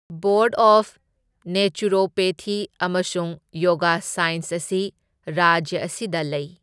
Board of naturopathy ꯑꯃꯁꯨꯡ yoga science ꯑꯁꯤ ꯔꯥꯖ꯭ꯌ ꯑꯁꯤꯗ ꯂꯩ꯫